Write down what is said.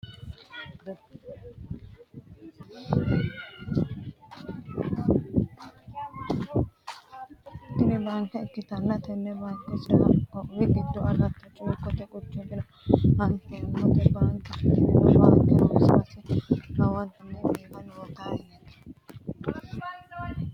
Tini baanke ikkitanna tenne baanke sidaami qoqqowi giddo alata cuukote quchumira afi'neemo bankeeti tini baanke noo base lowonta biifinote yaate